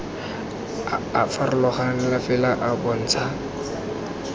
a farologaneng fela a bontsha